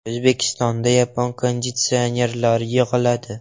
O‘zbekistonda yapon konditsionerlari yig‘iladi.